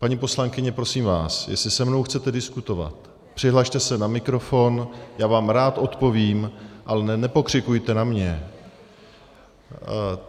Paní poslankyně, prosím vás, jestli se mnou chcete diskutovat, přihlaste se na mikrofon, já vám rád odpovím, ale nepokřikujte na mě.